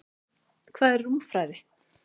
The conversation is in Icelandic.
Hvað er rúmfræði?